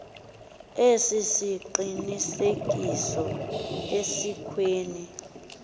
esi siqinisekiso asikwenzi